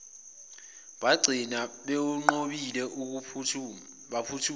bagcina bewunqobile baphuma